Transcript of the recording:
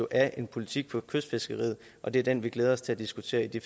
af en politik for kystfiskeriet og det er den vi glæder os til at diskutere i de